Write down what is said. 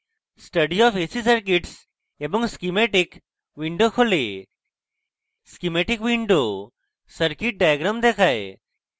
study of ac circuits এবং schematic windows খোলে schematic windows circuits diagram দেখায়